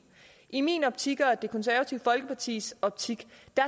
i min optik og i det konservative folkepartis optik